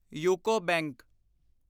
UCO bank